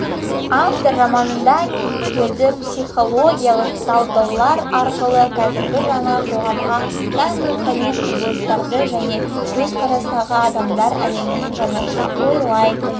автор романында кейіпкерді психологиялық талдаулар арқылы қазіргі жаңа қоғамға тән рухани құбылыстарды жаңа көзқарастағы адамдар әлемін жаңаша ойлайтын